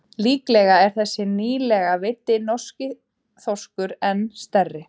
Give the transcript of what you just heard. Líklega er þessi nýlega veiddi norski þorskur enn stærri.